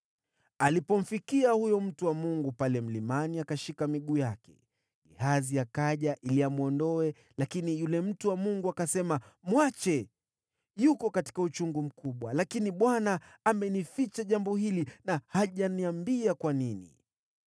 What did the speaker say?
Alipomfikia huyo mtu wa Mungu pale mlimani, akashika miguu yake. Gehazi akaja ili amwondoe, lakini yule mtu wa Mungu akasema, “Mwache! Yuko katika uchungu mkubwa, lakini Bwana amenificha jambo hili na hajaniambia kwa nini.”